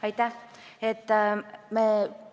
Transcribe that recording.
Aitäh!